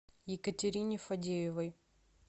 екатерине фадеевой